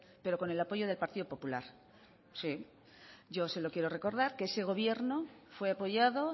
pero con el apoyo del partido popular sí yo se lo quiero recordar que ese gobierno fue apoyado